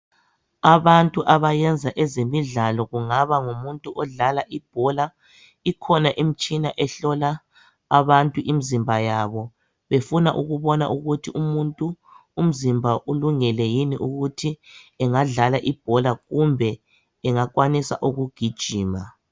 Abantu abayenza ezemidlalo kungaba ngumuntu odlala ibhola ikhona imitshina ehlola abantu imizimba yabo befuna ukubona ukuthi umuntu umzimba ulungele yini ukuthi engadlala ibhola kumbe engakwanisa ukugijima